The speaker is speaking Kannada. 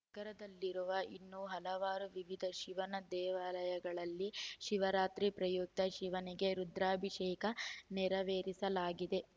ನಗರದಲ್ಲಿರುವ ಇನ್ನೂ ಹಲವಾರು ವಿವಿಧ ಶಿವನ ದೇವಾಲಯಗಳಲ್ಲಿ ಶಿವರಾತ್ರಿ ಪ್ರಯುಕ್ತ ಶಿವನಿಗೆ ರುದ್ರಾಭಿಷೇಕ ನೆರವೇರಿಸಲಾಗಿದೆ